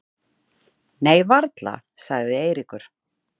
Nei varla sagði Eiríkur.